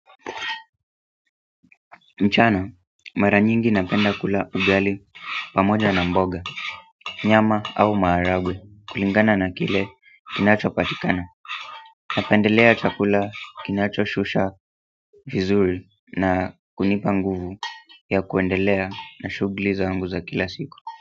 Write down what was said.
Mchana, mara nyingi napenda kula ugali pamoja na mboga, nyama au maharagwe kulingana na kile kinacho patikana Napendelea chakula kinacho shusha vizuri na kunipa nguvu ya kuendelea na shughuli zangu za kila siku.